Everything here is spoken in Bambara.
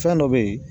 Fɛn dɔ be ye